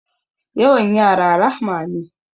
Yawan yara rahma ne